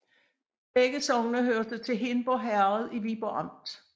Begge sogne hørte til Hindborg Herred i Viborg Amt